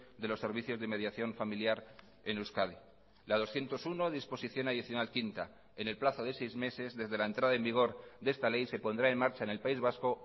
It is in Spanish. de los servicios de mediación familiar en euskadi la doscientos uno disposición adicional quinta en el plazo de seis meses desde la entrada en vigor de esta ley se pondrá en marcha en el país vasco